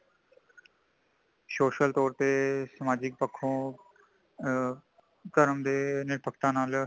social ਤੋਰ ਤੇ ,ਸਮਾਜਿਕ ਪੱਖੋ ਆਂ ਕਰਮ ਦੇ ਨਿਰਪਾਕਤਾ ਨਾਲ਼